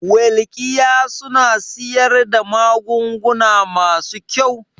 Welkiya suna siyar da magunguna masu kyau?